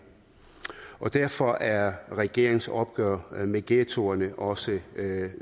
derfor er regeringens opgør med ghettoerne også